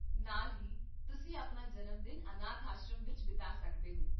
ਨਾਲ ਹੀ, ਤੁਸੀਂ ਆਪਣਾ ਜਨਮਦਿਨ ਅਨਾਥ ਆਸ਼ਰਮ ਵਿੱਚ ਬਿਤਾ ਸਕਦੇ ਹੋ